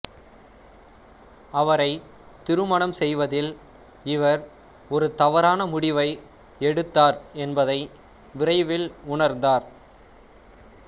அவரை திருமணம் செய்வதில் இவர் ஒரு தவறான முடிவை எடுத்தார் என்பதை விரைவில் உணர்ந்தார்